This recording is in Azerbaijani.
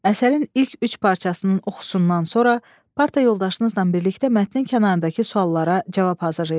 Əsərin ilk üç parçasının oxusundan sonra parta yoldaşınızla birlikdə mətnin kənarındakı suallara cavab hazırlayın.